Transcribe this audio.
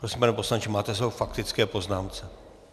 Prosím, pane poslanče, máte slovo k faktické poznámce.